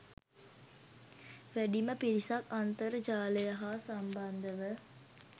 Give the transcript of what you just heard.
වැඩිම පිරිසක් අන්තර්ජාලය හා සම්බන්ධ ව